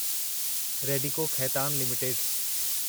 Radico Khaitan limited